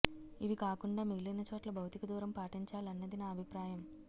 ఇవికాకుండా మిగిలిన చోట్ల భౌతిక దూరం పాటించాలన్నది నా అభిప్రాయం